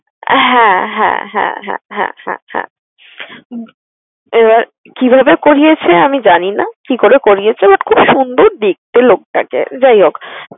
হ্যাঁ হ্যাঁ হ্যাঁ হ্যাঁ হ্যাঁ হ্যাঁ হ্যাঁ এবার কিভাবে করিয়েছে আমি জানি না কি করে করিয়েছে, but খুব সুন্দর দেখতে লোকটাকে। যাই হোক